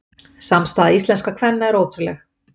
Samstaða íslenskra kvenna er ótrúleg